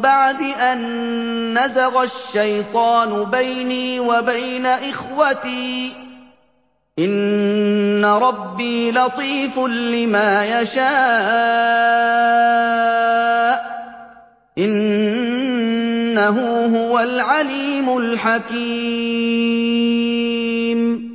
بَعْدِ أَن نَّزَغَ الشَّيْطَانُ بَيْنِي وَبَيْنَ إِخْوَتِي ۚ إِنَّ رَبِّي لَطِيفٌ لِّمَا يَشَاءُ ۚ إِنَّهُ هُوَ الْعَلِيمُ الْحَكِيمُ